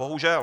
Bohužel.